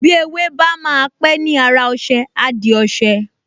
Bí ewé bá máa pẹ́ ni ára ọṣẹ, á di ọṣẹ